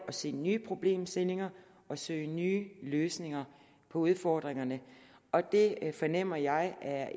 at se nye problemstillinger og søge nye løsninger på udfordringerne og det fornemmer jeg er